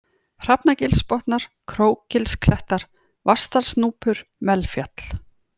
Hrafnagilsbotnar, Krókgilsklettar, Vatnsdalsnúpur, Melfjall